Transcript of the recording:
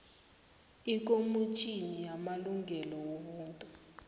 ikomitjhini yamalungelo wobuntu